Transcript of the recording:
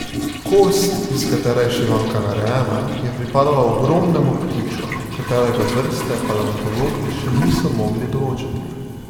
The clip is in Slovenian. Kost, iz katere je šivanka narejena, je pripadala ogromnemu ptiču, katerega vrste paleontologi še niso mogli določiti.